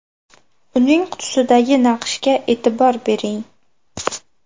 Uning qutisidagi naqshga e’tibor bering.